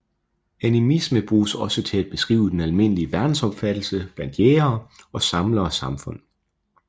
Animisme bruges også til at beskrive den almindelige verdensopfattelse blandt jægere og samlere samfund